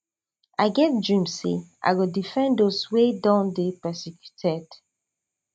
i get dream say i go defend those wey don dey persecuted